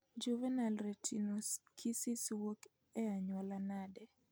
Juvenile retinoschisis wuok e anyuola nade